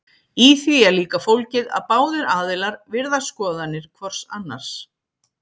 Í því er líka fólgið að báðir aðilar virða skoðanir hvors annars.